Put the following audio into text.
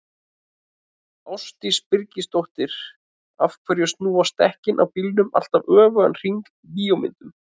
Ásdís Birgisdóttir: Af hverju snúast dekkin á bílum alltaf öfugan hring í bíómyndum?